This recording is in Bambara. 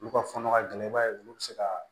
Olu ka fɔnɔ ka gɛlɛn i b'a ye olu bɛ se ka